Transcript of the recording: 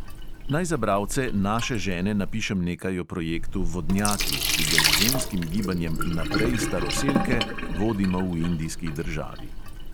Naj za bralce naše žene napišem nekaj o projektu vodnjaki, ki ga z ženskim gibanjem naprej staroselke vodimo v indijski državi.